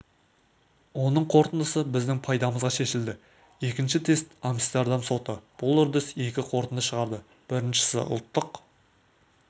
оның қорытындысы біздің пайдамызға шешілді екінші тест амстердам соты бұл үрдіс екі қорытынды шығарды біріншісіұлттық